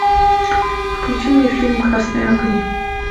включи мне фильм красные огни